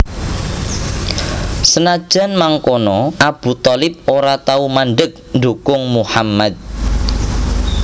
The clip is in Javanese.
Senajan mangkono Abu Thalib ora tau mandheg ndukung Muhammad